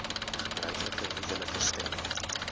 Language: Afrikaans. gebruiklike huwelike stem